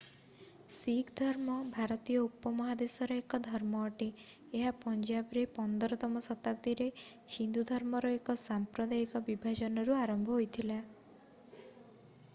ଶିଖ୍ ଧର୍ମ ଭାରତୀୟ ଉପମହାଦେଶର ଏକ ଧର୍ମ ଅଟେ ଏହା ପଞ୍ଜାବରେ 15ତମ ଶତାବ୍ଦୀରେ ହିନ୍ଦୁ ଧର୍ମର ଏକ ସାମ୍ପ୍ରଦାୟିକ ବିଭାଜନରୁ ଆରମ୍ଭ ହୋଇଥିଲା